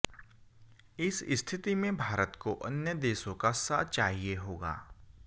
इस स्थिति में भारत को अन्य देशों का साथ चाहिए होगा